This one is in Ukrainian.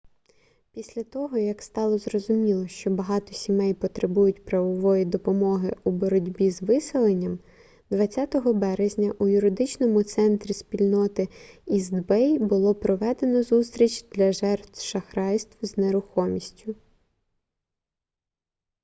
після того як стало зрозуміло що багато сімей потребують правової допомоги у боротьбі з виселенням 20 березня у юридичному центрі спільноти іст бей було проведено зустріч для жертв шахрайств з нерухомістю